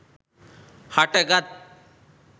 හට ගත්